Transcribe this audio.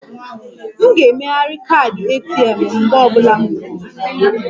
M ga-emegharị kaadị ATM m mgbe ọ bụla m nweere ohere